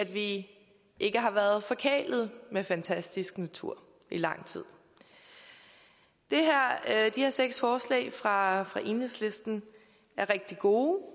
vi ikke har været forkælede med fantastisk natur i lang tid de her seks forslag fra fra enhedslisten er rigtig gode